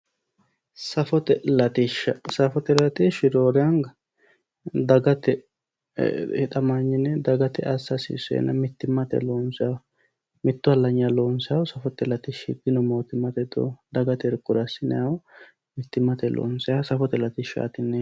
Safote latishsha, safote latishshi roore anga dagate hixamanyine dagate assa hasiisenna mittimmate loonsaniho, mitu halanyira loonsannihu dino mootimmate dino, Dagate loonsanniha mittimmate assinanniha safote latishshati yineemmo.